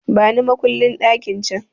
Bani makullin ɗakin can!